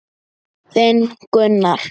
Þinn, Gunnar.